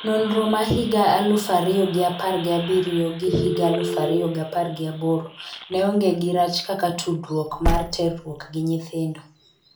Nonro ma higa aluf ariyogi apar gi abiriyo gi higa aluf ariyogi apar gi aboro ne onge gi rach kaka tudruok mar terruok gi nyithindo.